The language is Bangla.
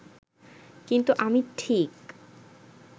কিন্তু আমি ঠিক